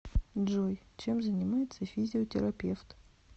джой чем занимается физиотерапевт